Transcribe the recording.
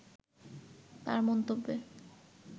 তার মন্তব্যে